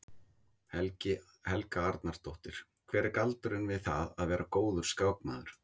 Helga Arnardóttir: Hver er galdurinn við það að vera góður skákmaður?